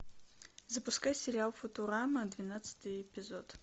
запускай сериал футурама двенадцатый эпизод